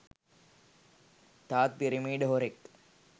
තවත් පිරමිඩ් හොරෙක්.